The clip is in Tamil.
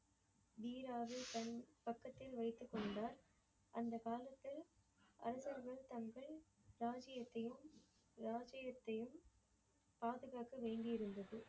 வீராவை தன் பக்கத்தில் வைத்துக்கொண்டார். அந்த காலத்தில் அரசர்கள் தங்கள் ராஜியத்தையும் ராஜியத்தையும் பாதுகக்கவேண்டி இருந்தது.